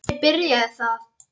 Þannig byrjaði það.